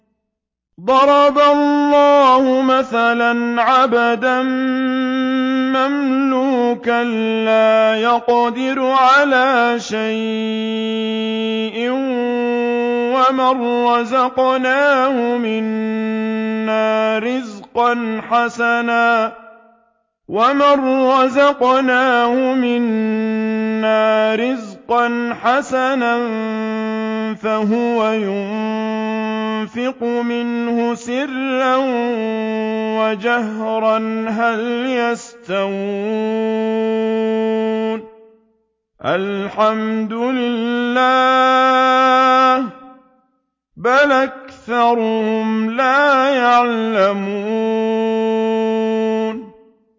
۞ ضَرَبَ اللَّهُ مَثَلًا عَبْدًا مَّمْلُوكًا لَّا يَقْدِرُ عَلَىٰ شَيْءٍ وَمَن رَّزَقْنَاهُ مِنَّا رِزْقًا حَسَنًا فَهُوَ يُنفِقُ مِنْهُ سِرًّا وَجَهْرًا ۖ هَلْ يَسْتَوُونَ ۚ الْحَمْدُ لِلَّهِ ۚ بَلْ أَكْثَرُهُمْ لَا يَعْلَمُونَ